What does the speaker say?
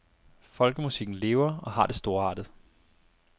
Folkemusikken lever og har det storartet.